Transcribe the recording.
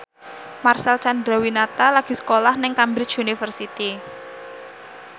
Marcel Chandrawinata lagi sekolah nang Cambridge University